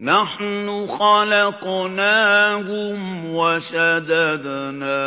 نَّحْنُ خَلَقْنَاهُمْ وَشَدَدْنَا